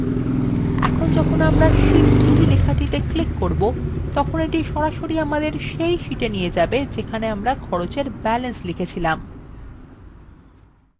এখন যখন আমরা sheet 2লেখাটিতে click করব তখন এটি সরাসরি আমাদের সেই sheet we নিয়ে যাবে যেখানে আমরা খরচ এর balance লিখেছি